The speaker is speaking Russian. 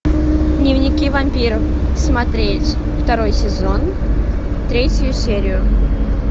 дневники вампира смотреть второй сезон третью серию